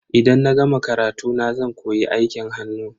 Idan na gama karatuna zan koyi aikin hannu.